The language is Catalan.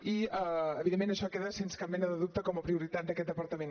i evidentment això queda sense cap mena de dubte com a prioritat d’aquest departament